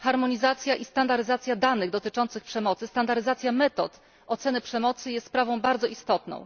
Harmonizacja i standaryzacja danych dotyczących przemocy, standaryzacja metod oceny przemocy jest sprawą bardzo istotną.